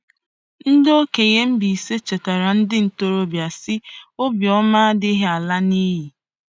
Ndị okenye Mbaise chetaara ndị ntorobịa sị, “Obiọma adịghị ala n'iyi.”